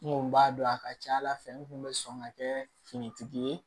N kun b'a dɔn a ka ca ala fɛ n kun be sɔn ka kɛ finitigi ye